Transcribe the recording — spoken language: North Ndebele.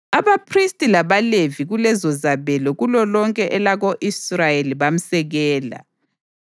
Abaphristi labaLevi kulezozabelo kulolonke elako-Israyeli bamsekela.